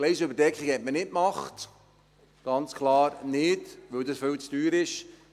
» Die Gleisüberdeckung hat man nicht gemacht, ganz klar nicht, weil das viel zu teuer ist.